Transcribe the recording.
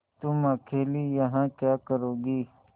तुम अकेली यहाँ क्या करोगी